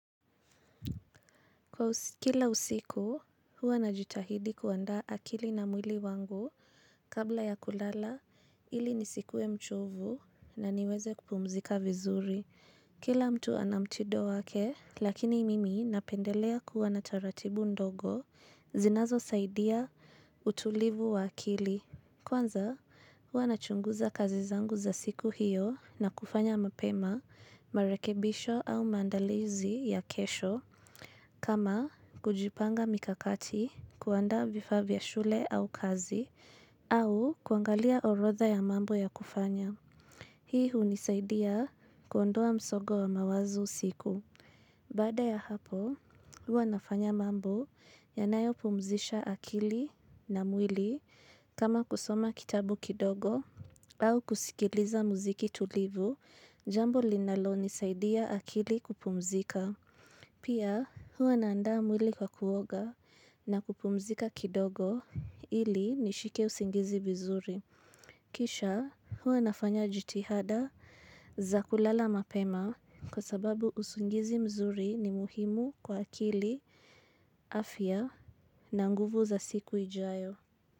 Kwa kila usiku, huwa najitahidi kuandaa akili na mwili wangu kabla ya kulala, ili nisikue mchovu na niweze kupumzika vizuri. Kila mtu ana mtindo wake, lakini mimi napendelea kuwa na taratibu ndogo zinazo saidia utulivu wa akili. Kwanza, huwa na chunguza kazi zangu za siku hiyo na kufanya mapema, marekebisho au maandalizi ya kesho. Kama kujipanga mikakati kuandaa vifaa vya shule au kazi au kuangalia orotha ya mambo ya kufanya. Hii hunisaidia kuondoa msongo wa mawazo usiku. Baada ya hapo huwa nafanya mambo yanayopumzisha akili na mwili kama kusoma kitabu kidogo au kusikiliza muziki tulivu jambo linalo nisaidia akili kupumzika. Pia huwa naandaa mwili kwa kuoga na kupumzika kidogo ili nishike usingizi vizuri. Kisha huwa nafanya jitihada za kulala mapema kwa sababu usingizi mzuri ni muhimu kwa akili afya na nguvu za siku ijayo.